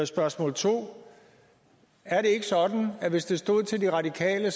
spørgsmål 2 er det ikke sådan at hvis det stod til de radikale